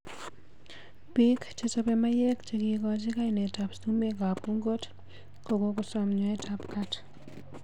Bik chechopei maiyek chekikochi kainet ab sumek ab ungot kokosom nyoet ab kat.